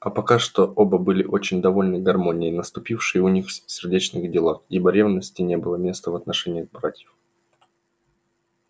а пока что оба были очень довольны гармонией наступившей в их сердечных делах ибо ревности не было места в отношениях братьев